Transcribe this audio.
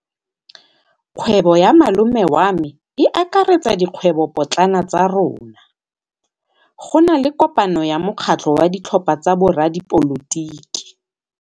Kgwêbô ya malome wa me e akaretsa dikgwêbôpotlana tsa rona. Go na le kopanô ya mokgatlhô wa ditlhopha tsa boradipolotiki.